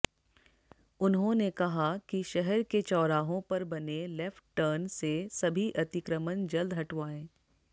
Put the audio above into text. उन्होंने कहा कि शहर के चौराहों पर बने लेफ्ट टर्न से सभी अतिक्रमण जल्द हटवाएं